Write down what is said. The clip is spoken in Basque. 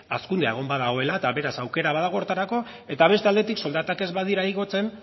hazkundea egon badagoela eta beraz aukera badago horretarako eta beste aldetik soldatak ez badira igotzen